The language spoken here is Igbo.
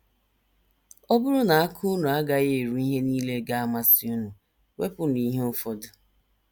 Ọ bụrụ na aka unu agaghị eru ihe nile ga - amasị unu, wepụnụ ihe ụfọdụ.